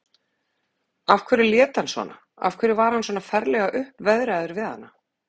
Af hverju lét hann svona, af hverju var hann svona ferlega uppveðraður við hana?